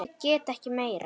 Ég get ekki meira.